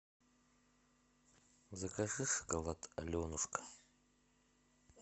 закажи шоколад аленушка